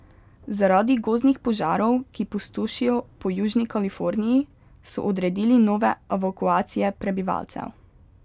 Zaradi gozdnih požarov, ki pustošijo po južni Kaliforniji, so odredili nove evakuacije prebivalcev.